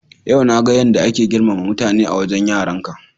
Yau na ga yadda ake girmama mutane a wajen yaranka.